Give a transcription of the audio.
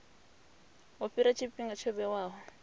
u fhela tshifhinga tsho vhewaho